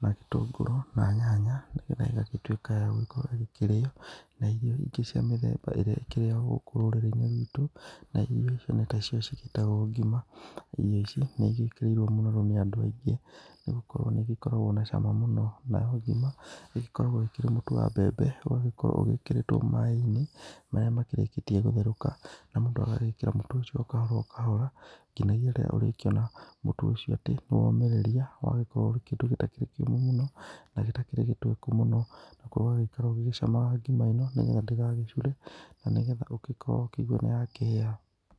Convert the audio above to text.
na gĩtũngũrũ, na nyanya nĩgetha ĩgagĩtuĩka ya gũkorwo ĩkĩrĩo. Na irio ingĩ cia mĩthemba ĩrĩa ĩkĩrĩagwo gũkũ rũrĩrĩ-inĩ rwitũ, na irio icio nĩtacio cigĩtagũo ngima. Na irio icio nĩigĩkĩrĩirwo mũno nĩ andũ aingĩ, nĩgũkorwo nĩigĩkoragwo na cama mũno, nayo ngima nĩgĩkoragwo ĩkĩrĩ mũtu wa mbembe, ũgagĩkorwo ũgĩkĩrĩtwo maĩ-inĩ, marĩa makĩrĩkĩtie gũtherũka. Na mũndũ agagĩkĩra mũtu ũcio o kahora o kahora, kinya rĩrĩa ũrĩkĩona mũtu ũcio atĩ nĩwomĩrĩria, na ũgagĩkorwo ũrĩ kĩndũ gĩtakĩrĩ kĩũmũ mũno, na gĩtakĩrĩ gĩtweku mũno, nakuo ũgagĩikara ũgĩcamaga ngima ĩno nĩgetha ndĩgagĩcure na nĩgetha ũgĩkorwo ũkĩigua nĩyakĩhĩa.